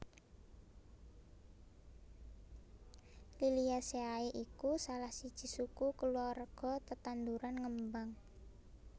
Liliaceae iku salah siji suku kulawarga tetanduran ngembang